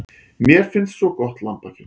Mér finnst svo gott lambakjöt.